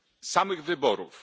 samych wyborów.